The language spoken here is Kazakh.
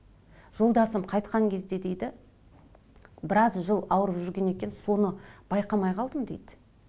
жолдасым қайтқан кезде дейді біраз жыл ауырып жүрген екен соны байқамай қалдым дейді